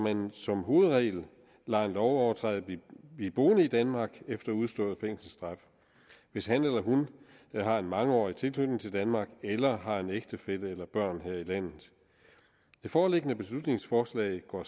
at man som hovedregel lader en lovovertræder blive boende i danmark efter udstået fængselsstraf hvis han eller hun har en mangeårig tilknytning til danmark eller har en ægtefælle eller børn her i landet det foreliggende beslutningsforslag går